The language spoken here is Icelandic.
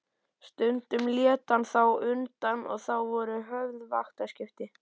Stundum lét hann þó undan og þá voru höfð vaktaskipti.